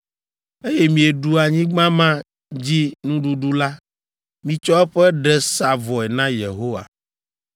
eye mieɖu anyigba ma dzi nuɖuɖu la, mitsɔ eƒe ɖe sa vɔe na Yehowa.